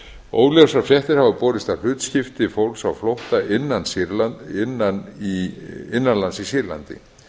óljósar fréttir hafa borist af hlutskipti fólks á flótta innan lands í sýrlandi